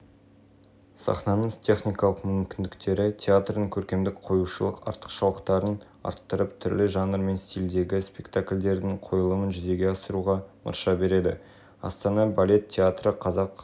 қатар осы саладағы соңғы инновациялық жаңалықтар қолданылған жарық жабдықтары орнатылып соның арқасында көркем жарықты жоғары